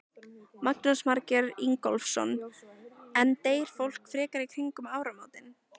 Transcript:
Jónas Margeir Ingólfsson: En deyr fólk frekar í kringum áramótin?